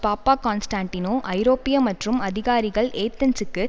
Papaconstantinou ஐரோப்பிய மற்றும் அதிகாரிகள் ஏதென்ஸுக்கு